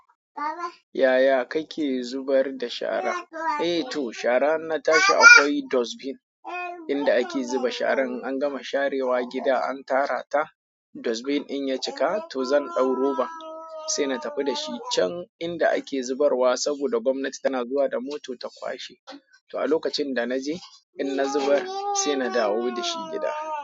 Yaya kake zubar da shara. Eh to shara in na tashi akwai dustbin inda ake zuba sharan. An gama sharewa gida an tara ta. Dustbin in ya cika to zan ɗau roban sai na tafi da shi can inda ake zubarwa. Saboda gomnati tana zuwa da moto ta kwashe. To a lokacin da na je in na zubar sai na dawo da shi gida.